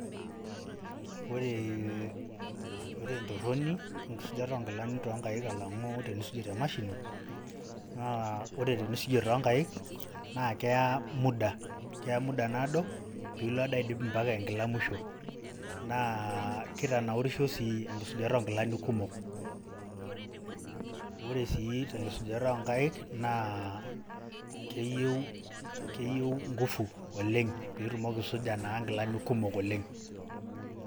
Oree, ore entorroni enkisujata onkilani tonkaik alang'u tenisuji te mashini, naa ore tenisujie tonkaik, naa keya muda. Keya muda naado, pilo ade aidip mpaka enkila musho. Naa kitanaurisho sii enkisujata onkilani kumok. Ore si tenkisujata onkaik, naa keyieu ngufu oleng' pitumoki aisuja naa nkilani kumok oleng'.